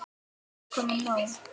Það var komið nóg.